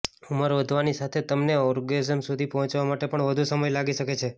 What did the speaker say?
ઉંમર વધવાની સાથે તમને ઓર્ગેઝ્મ સુધી પહોંચવા માટે પણ વધુ સમય લાગી શકે છે